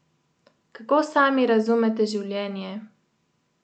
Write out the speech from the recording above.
Kako sami razumete življenje?